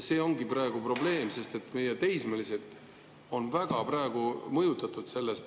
See ongi praegu probleem, sest meie teismelised on sellest praegu väga mõjutatud.